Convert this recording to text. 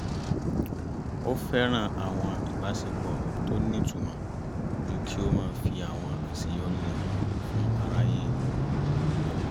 ó fẹ́ràn àwọn ìbáṣepọ̀ tó nítumọ̀ ju kí ó máa fi àwọn àṣeyọrí rẹ̀ hàn fún aráyé rí lọ